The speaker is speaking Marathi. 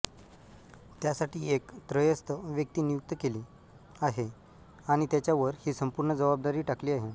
त्यासाठी एक त्रयस्थ व्यक्ती नियुक्त केली आहे आणि त्याच्यावर ही संपूर्ण जबाबदारी टाकली आहे